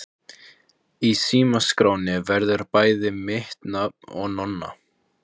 Í símaskránni verður bæði mitt nafn og Nonna.